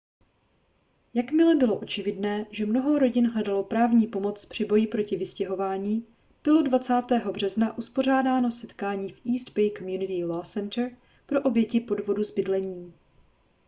jakmile bylo očividné že mnoho rodin hledalo právní pomoc při boji proti vystěhování bylo 20. března uspořádáno setkání v east bay community law center pro oběti podvodu s bydlením